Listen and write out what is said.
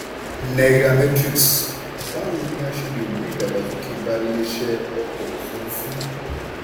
nairametrics: báwo ni a ṣe lè mú ìdàgbàsókè bá iléeṣẹ́ ọkọ̀ ofurufú?